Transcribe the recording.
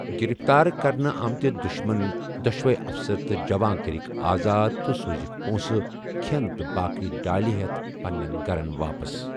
گِرِفتار كرنہٕ آمٕتہِ دٗشمن ،دوٚشوَے افسر تہٕ جوان کٔرٕکھ آزاد تہٕ سوٗزِکھ پونٛسہٕ، کھٮ۪ن تہٕ باقٕے ڈٲلہِ ہیتھ پنین گَھرن واپس ۔